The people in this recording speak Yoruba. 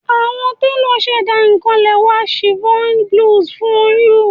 Awọn telo ṣẹda kan lẹwa chiffon blouse fun u